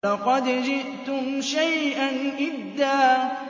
لَّقَدْ جِئْتُمْ شَيْئًا إِدًّا